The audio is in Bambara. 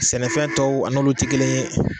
Sɛnɛfɛn tɔw a n'olu ti kelen ye